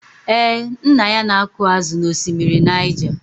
Ee, nna ya na-akụ ázụ̀ n'ọsimiri Naịja.